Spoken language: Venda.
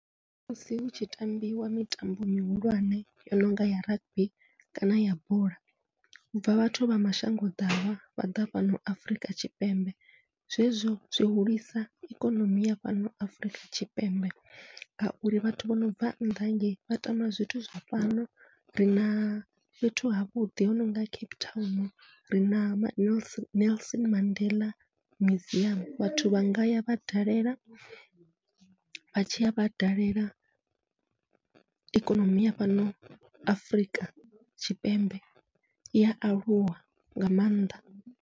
Musi hutshi tambiwa mitambo mihulwane yo nonga ya rugby kana ya bola, hubva vhathu vha mashango ḓavha vha ḓa fhano Afurika Tshipembe zwezwo zwi hulisa ikonomi ya fhano Afurika Tshipembe, ngauri vhathu vho nobva nnḓa hangei vha tama zwithu zwa fhano rina fhethu havhuḓi ho nonga Cape Town rina nels Nelson Mandela museum, vhathu vha ngaya vha dalela vha tshiya vha dalela ikonomi ya fhano Afrika Tshipembe ia aluwa nga maanḓa